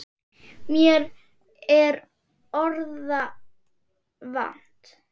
Mér er orða vant.